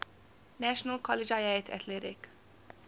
national collegiate athletic